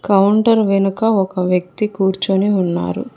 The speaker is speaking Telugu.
కౌంటర్ వెనుక ఒక వ్యక్తి కూర్చొని ఉన్నారు.